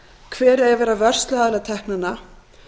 hver eigi að vera vörsluaðili teknanna